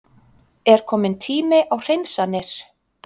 Er kominn tími á hreinsanir?